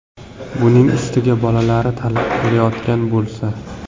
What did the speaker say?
Buning ustiga bolalari talab qilayotgan bo‘lsa.